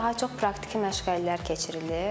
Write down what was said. Burda daha çox praktiki məşğələlər keçirilir.